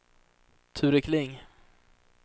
Ture Kling